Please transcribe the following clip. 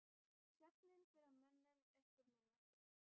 Svefninn fer að mönnum upp úr miðnætti.